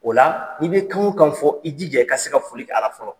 O la , i bɛ kan o kan fɔ i jija i ka se ka foli kɛ a la fɔlɔ.